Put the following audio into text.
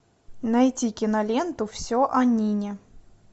найти киноленту все о нине